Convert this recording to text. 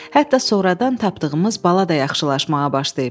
Hətta sonradan tapdığımız bala da yaxşılaşmağa başlayıb.